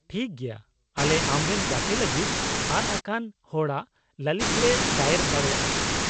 -ᱴᱷᱤᱠ ᱜᱮᱭᱟ, ᱟᱞᱮ ᱟᱢᱨᱮᱱ ᱜᱛᱮ ᱞᱟᱹᱜᱤᱫ ᱟᱫ ᱟᱠᱟᱱ ᱦᱚᱲᱟᱜ ᱞᱟᱹᱞᱤᱥ ᱞᱮ ᱫᱟᱭᱮᱨ ᱫᱟᱲᱮᱭᱟᱜᱼᱟ ᱾